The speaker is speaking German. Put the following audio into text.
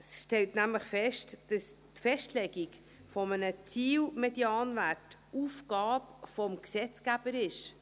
Dieses stellt fest, dass die Festlegung eines Ziel-Medianwerts Aufgabe des Gesetzgebers ist.